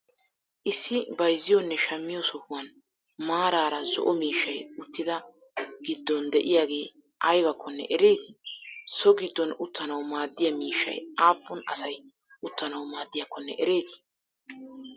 issi bayziyonne shammiyo sohuwan maraara zo'o miishshaay uttida giddon de'iyagee aybakkonne ereeti? so giddon uttanawu maadiya miishshay appun asay uttanawu maadiyakkonne ereeti?